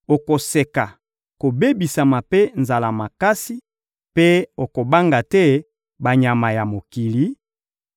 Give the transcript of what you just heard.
okoseka kobebisama mpe nzala makasi, mpe okobanga te banyama ya mokili;